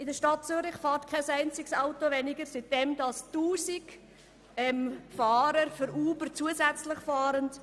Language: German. In der Stadt Zürich fährt kein einziges Auto weniger, seit 1000 Fahrer zusätzlich für Uber fahren.